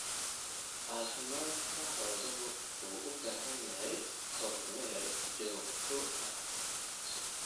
Caafimaadka xooluhu wuxuu u baahan yahay kormeer joogto ah.